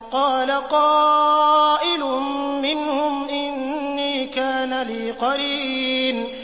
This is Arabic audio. قَالَ قَائِلٌ مِّنْهُمْ إِنِّي كَانَ لِي قَرِينٌ